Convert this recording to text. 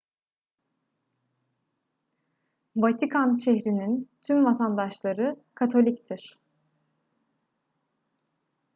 vatikan şehri'nin tüm vatandaşları katoliktir